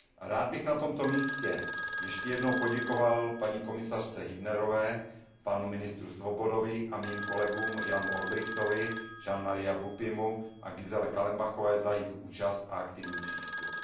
Rád bych na tomto místě ještě jednou poděkoval paní komisařce Hübnerové, panu ministru Svobodovi a mým kolegům Janu Olbrychtovi, Jeanovi Maria Beaupuymu a Giselle Kallenbachové za jejich účast a aktivní přístup.